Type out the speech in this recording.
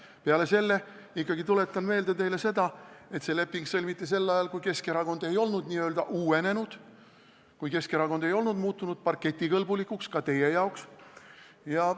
Peale selle tuletan teile meelde ikkagi seda, et see leping sõlmiti sel ajal, kui Keskerakond ei olnud n-ö uuenenud, kui Keskerakond ei olnud ka teie arvates parketikõlblikuks muutunud.